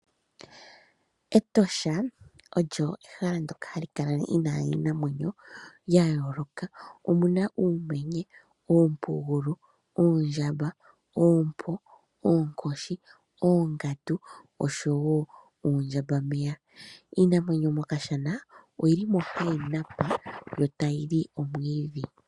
Etosha olyo ehala ndoka hali kala lina iinamwenyo yayoloka omuna uumenye, oompungulu, oondjamba, ookoshi, oongandu oshowo oondjamba meya. Iinamwenyo mokashana oyi li mo hayi napa yo tayi li omwidhi.